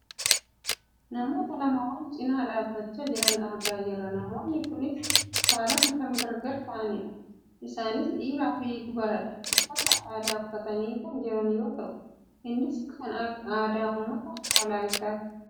namoota lama wal cinaa dhaabbachaa jiran argaa jirra. namoonni kunis saalaan kan gar gar ta'anidha, isaanis dhiiraa fi dubaradha. uffata aadaa uffatanii kan jiran yoo ta'u innis kan aadaa uumata walaayittaati.